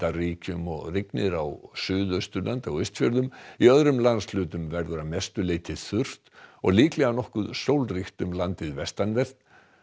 ríkjum og rignir á Suðausturlandi og Austfjörðum í öðrum landshlutum verður að mestu leyti þurrt og líklega nokkuð sólríkt um landið vestanvert